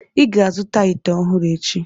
ị ga-azụta ite ọhụrụ echi!